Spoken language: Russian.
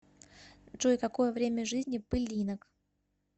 джой какое время жизни пылинок